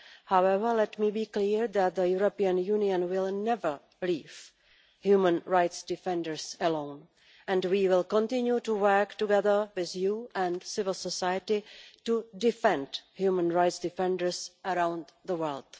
However, let me be clear that the European Union will never leave human rights defenders alone, and we will continue to work together with you and civil society to defend human rights defenders around the world.